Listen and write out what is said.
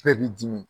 Bɛɛ b'i dimi